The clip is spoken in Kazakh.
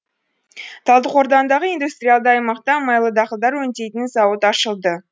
талдықорғандағы индустриалды аймақта майлы дақылдар өңдейтін зауыт ашылды